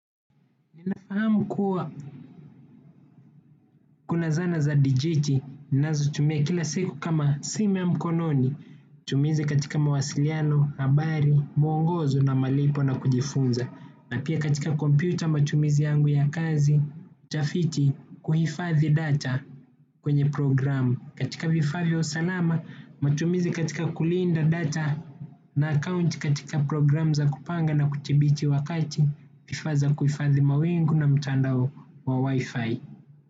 Ninafahamu kuwa kuna zana za dijiti, nazo tumia kila siku kama simu ya mkononi, tumizi katika mawasiliano, habari, mwongozo na malipo na kujifunza, na pia katika kompyuta matumizi yangu ya kazi, utafiti kuhifadhi data kwenye programu. Katika vifaa vya usalama, matumizi katika kulinda data na account katika program za kupanga na kuthibiti wakati, vifaa za kuifadhi mawingu na mtandao wa wifi.